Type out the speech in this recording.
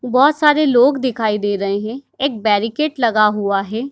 बहोत सारे लोग दिखाई दे रहे हैं एक बैरिकेट लगा हुआ है।